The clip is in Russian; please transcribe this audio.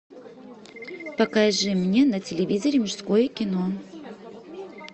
покажи мне на телевизоре мужское кино